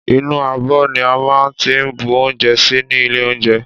Ìnú ábõ ní a má n tí bú ounjé sí ni ìlé ounjé